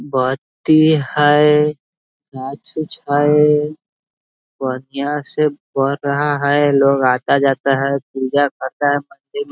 बत्ती है माचिस है बढ़िया से बर रहा है लोग आज आता जाता है पूजा करता है मंदिर--